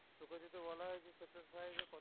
তোকে জেহুতু বলা হয়েছে